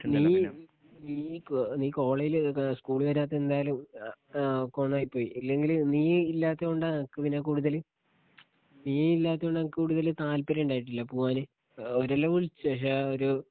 നീ നീ കോ നീ കോളേജിലേതൊക്കെ സ്കൂളി വരാത്തെതെന്തായാലും ആ കോന്നായി പോയി ഇല്ലെങ്കില് നീ ഇല്ലാത്തതോണ്ട ഞങ്ങക്ക് പിന്നെ കൂടുതല് ഈ ഇല്ലാത്തോണ്ട് ഞങ്ങക്ക് കൂടുതല് താൽപ്പര്യണ്ടായിട്ടില്ല പൂവാന് അവരെല്ലാം വിളിച്ച് പക്ഷെ ആ ഒര്